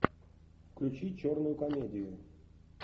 включи черную комедию